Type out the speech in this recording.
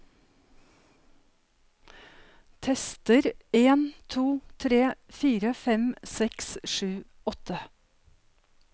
Tester en to tre fire fem seks sju åtte